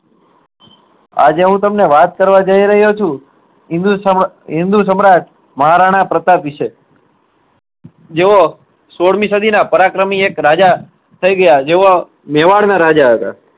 આજે હું તમને વાત કરવા જઈ રહ્યો છું હિન્દૂ સમા~હિન્દૂ સમ્રાટ મહારાણા પ્રતાપ વિષે. જેઓ સોળમી સદીના પરાક્રમી એક રાજા થઇ ગયા. જેઓ મેવાડના રાજા હતા.